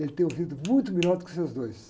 Ele tem ouvido muito melhor do que os seus dois.